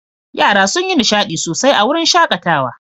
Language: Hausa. Yara sun yi nishaɗi sosai a wurin shaƙatawa.